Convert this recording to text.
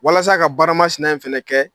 Walasa ka baara ma sina in fɛnɛ kɛ